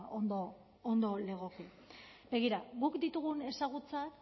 ondo ondo legoke begira guk ditugun ezagutzak